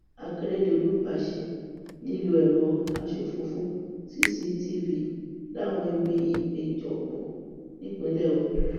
akérèdọlù pàṣẹ lílo ẹrọ asòfófó cctv láwọn ibi ìpéjọpọ nípínlẹ ondo